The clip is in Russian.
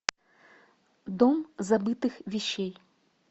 дом забытых вещей